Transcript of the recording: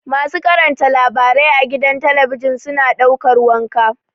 Masu karanta labarai a gida talabijin suna ɗaukar wanka.